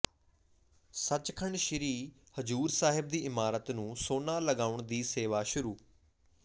ਸਚਖੰਡ ਸ੍ਰੀ ਹਜ਼ੂਰ ਸਾਹਿਬ ਦੀ ਇਮਾਰਤ ਨੂੰ ਸੋਨਾ ਲਗਾਉਣ ਦੀ ਸੇਵਾ ਸ਼ੁਰੂ